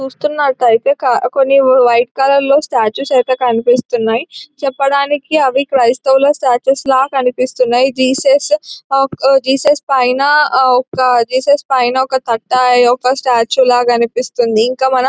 చూస్తున్నట్టయితే క కొన్ని వైట్ కలర్ లో స్టేట్యూస్ అయితే కనిపిస్తున్నాయి. చెప్పడానికి అవి క్రైస్తావులా స్టేట్యూస్ లాగా కనిపిస్తున్నాయి జీసస్ అ జీసస్ పైన ఒక జీసస్ పైన ఒక తట్ట యొక్క స్టాచు లాగా కనిపిస్తుందీ ఇంకా మనం --